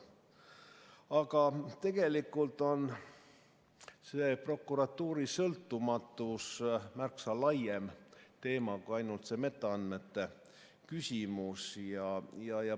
Aga tegelikult on prokuratuuri sõltumatus märksa laiem teema kui ainult see metaandmete küsimus.